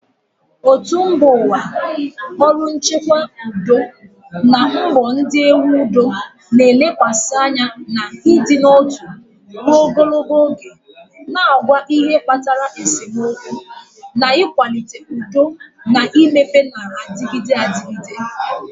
Òtù mba ụwa, ọrụ nchekwa udo na mbọ ndị na-ewu udo na-elekwasị anya n'ịdị n'otu ruo ogologo oge, na-agwa ihe kpatara esemokwu, na ịkwalite udo na mmepe na-adịgide adịgide.